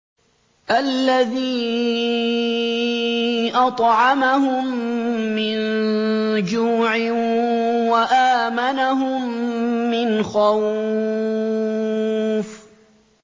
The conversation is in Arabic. الَّذِي أَطْعَمَهُم مِّن جُوعٍ وَآمَنَهُم مِّنْ خَوْفٍ